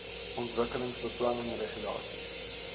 ontwikkelingsbeplanningregulasies